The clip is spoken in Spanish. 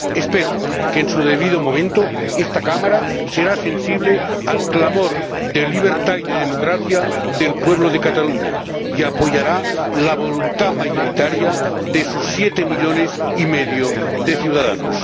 Espero que, en su debido momento, esta Cámara sea sensible al clamor de libertad y de democracia del pueblo de Cataluña y apoye la voluntad mayoritaria de sus siete millones y medio de ciudadanos.